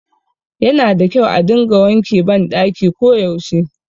Yana da kyau a dinga wanke ban ɗaki ko yaushe